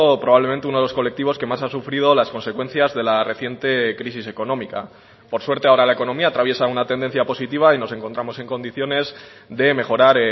probablemente uno de los colectivos que más ha sufrido las consecuencias de la reciente crisis económica por suerte ahora la economía atraviesa una tendencia positiva y nos encontramos en condiciones de mejorar